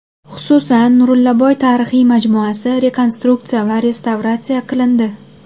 Xususan, Nurillaboy tarixiy majmuasi rekonstruksiya va restavratsiya qilindi.